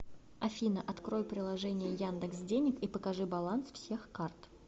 афина открой приложение яндекс денег и покажи баланс всех карт